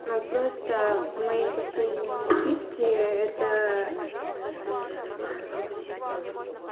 ну просто мои последние напитки это